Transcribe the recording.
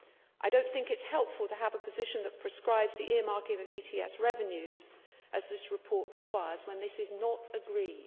I do not think it is helpful to have a position that prescribes the earmarking of ETS revenues, as this report requires, when this is not agreed.